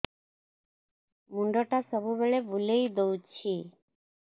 ମୁଣ୍ଡଟା ସବୁବେଳେ ବୁଲେଇ ଦଉଛି